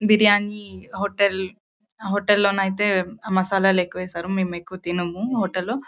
Biryani hotel hotel hotel లోనైతే మసాలాలు ఎక్కువేశారు. మేము ఎక్కువ తినము హోటల్ లో.